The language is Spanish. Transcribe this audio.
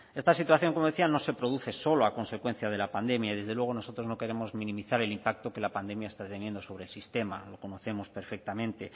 esta situación como decía no se produce solo a consecuencia de la pandemia y desde luego nosotros no queremos minimizar el impacto que la pandemia está teniendo sobre el sistema lo conocemos perfectamente